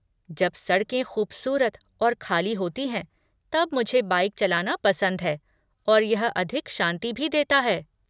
जब सड़कें खूबसूरत और खाली होती हैं तब मुझे बाइक चलाना पसंद है और यह अधिक शांति भी देता है।